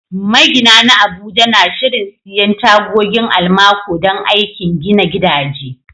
Magina na Abuja na shirin siyan tagogin almaco don aikin gina gidaje.